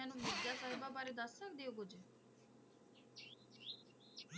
ਮੈਨੂੰ ਮਿਰਜ਼ਾ ਸਾਹਿਬ ਬਾਰੇ ਦੱਸ ਸਕਦੇ ਹੋ ਕੁਛ।